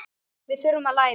Við þurfum að læra.